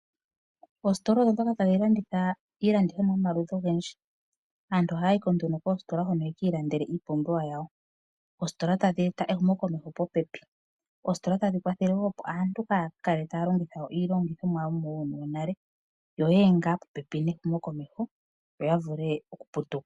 Oositola ohadhi landitha iilandithomwa yomaludhi gayooloka, aantu ohaayi koositola yekiilandele oompumbwe dhawo. Oositola otadheeta ehumo komeho popepi.